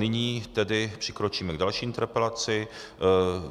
Nyní tedy přikročíme k další interpelaci.